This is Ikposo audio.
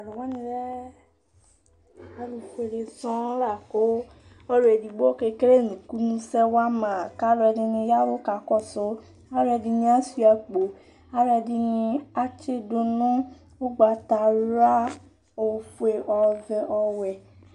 Taluwani lɛ alu fuele sɔɔ la ku ɔluedigbo kele ŋkunu sɛwa wama kaluɛdini yavu kɔsu aluɛdini ashua akpo aluɛdini atsidu nu ugbatawla ofue ɔvɛ ɔwɛ